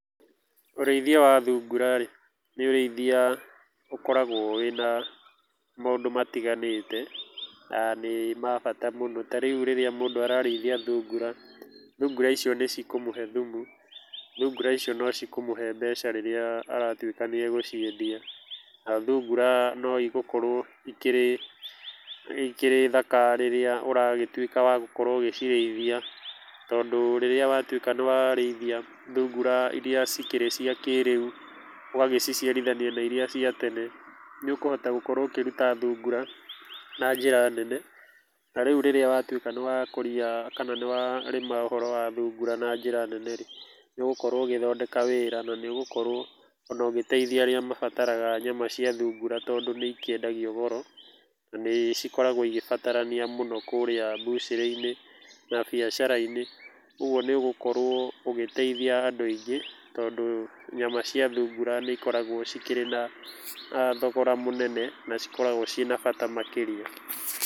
Ũrĩithia wa thungura rĩ, nĩ ũrĩithia ũkoragwo na maũndũ matiganĩte na nĩ mabata mũno, ta rĩu rĩrĩa mũndũ ararĩithia thungura, thungura icio nĩ cikũmũhe thumu, thungura icio nĩ cikũmũhe mbeca rĩrĩa aratuĩkania gũciendia na thungura nĩ igũkorwo ikĩrĩ thaka rĩrĩa ũragĩtuĩka wa gũkorwo ũgĩcirĩithia, tondũ rĩrĩa watuĩka nĩ warĩithia thungura iria cikĩrĩ cia kĩrĩu ũgagĩciarithania na iria cia tene nĩ ũkũhota gũkorwo ũkĩruta thungura na njĩra nene na rĩu rĩrĩa watuĩka nĩ wakũria kana nĩ warĩma ũhoro wa thungura na njĩra nene rĩ, nĩ ũgũkorwo ũgĩthondeka wĩra na nĩ ũgũkorwo ũgĩteithia arĩa mabataraga nyama cia thungura tondũ nĩ ĩkĩendagia goro na cikoragwo ikĩbatarania mũno kũrĩa butchery inĩ na biacara-inĩ ũguo nĩ ũgũkorwo ũgĩteithia andũ aingĩ tondũ nyama cia thungura nĩ ikoragwo cikĩrĩ na thogora mũnene na cikoragwo na bata makĩria.